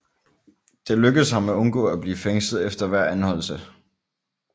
Det lykkedes ham at undgå at blive fængslet efter hver anholdelse